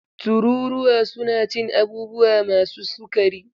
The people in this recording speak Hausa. Tururuwa suna cin abubuwa masu sukari.